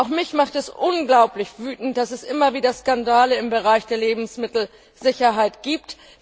Auch mich macht es unglaublich wütend, dass es immer wieder Skandale im Bereich der Lebensmittelsicherheit gibt.